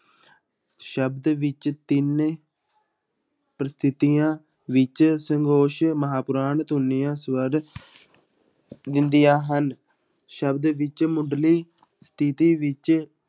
ਸ਼ਬਦ ਵਿੱਚ ਤਿੰਨ ਪ੍ਰਸਥਿੱਤੀਆਂ ਵਿੱਚ ਸੰਗੋਸ਼ ਮਹਾਂਪੁਰਾਣ ਧੁਨੀਆਂ ਸਵਰ ਹੁੰਦੀਆਂ ਹਨ, ਸ਼ਬਦ ਵਿੱਚ ਮੁੱਢਲੀ ਸਥਿੱਤੀ ਵਿੱਚ